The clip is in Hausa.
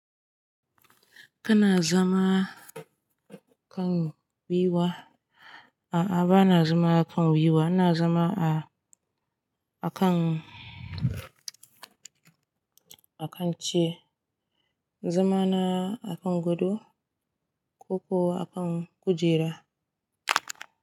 Kana zama kan gwiiwa? A'a, ba na zama kan gwiwa. Na zama a-akan, akan ce na zama na akan gado ko kuwa akan kujera.